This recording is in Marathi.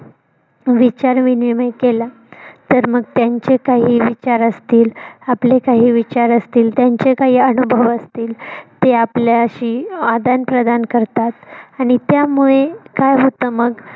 विचार विनिमय केला तर मग त्यांचे काही विचार असतील. आपले काही विचार असतील त्यांचे काही अनुभव असतील ते आपल्याशी आदानप्रदान करतात आणि त्यामुळे काय होत मग